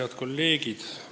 Head kolleegid!